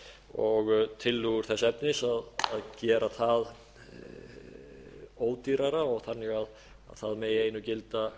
og tillögur þess efnis að gera það það ódýrara og þannig að það megi einu gilda